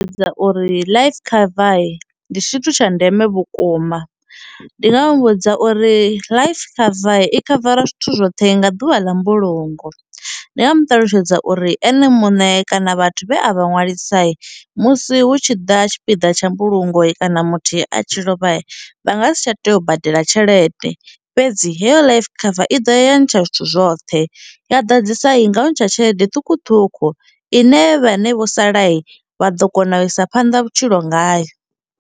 Ndi dza uri life cover ndi tshithu tsha ndeme vhukuma ndi nga muvhudza uri life cover i khavara zwithu zwoṱhe nga ḓuvha ḽa mbulungo, ndi nga mu ṱalutshedza uri ene muṋe kana vhathu vhe a vha ṅwalisa musi hu tshi ḓa tshipiḓa tsha mbulungo kana muthihi a tshi lovha vha nga si tsha tea u badela tshelede fhedzi heyo life cover i ḓa ya ntsha zwithu zwoṱhe ya ḓadzisa ngau ntsha tshelede ṱhukhuṱhukhu ine vhane vho sala vha ḓo kona u isa phanḓa vhutshilo ngayo.